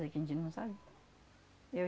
que a gente não sabe.